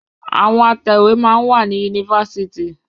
Àwọn Atẹ̀wé máa ń wà ní yunifásitì.